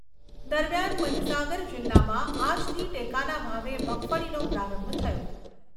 દરમિયાન મહિસાગર જિલ્લામાં આજથી ટેકાના ભાવે મગફળીનો પ્રારંભ થયો.